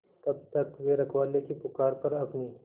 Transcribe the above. तब तक वे रखवाले की पुकार पर अपनी